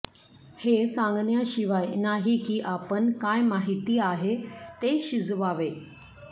हे सांगण्याशिवाय नाही की आपण काय माहिती आहे ते शिजवावे